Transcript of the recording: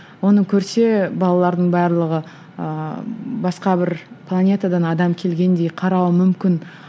оны көрсе балалардың барлығы ыыы басқа бір планетадан адам келгендей қарауы мүмкін